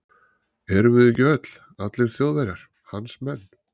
Erum við ekki öll, allir Þjóðverjar, hans menn.